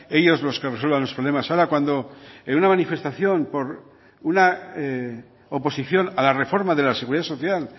ellos los que resuelvan los problemas ahora cuando en una manifestación por una oposición a la reforma de la seguridad social